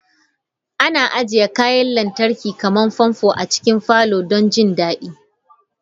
Ana ajiye kayan lantarki kamar fanfo a cikin falon don jin daɗi.